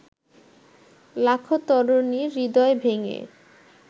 লাখো তরুণীর হৃদয় ভেঙে